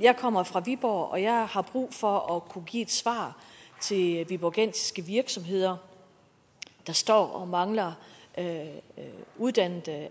jeg kommer fra viborg og jeg har brug for at kunne give et svar til viborgensiske virksomheder der står og mangler uddannet